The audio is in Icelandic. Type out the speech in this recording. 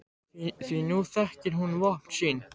Því nú þekkir hún vopn sín.